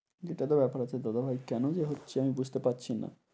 এটা তো ব্যাপার আছে দাদা ভাই, কেন যে হচ্ছে আমি বুঝতে পারছি না।